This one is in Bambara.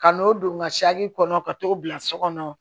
Ka n'o don ŋa kɔnɔ ka t'o bila so kɔnɔ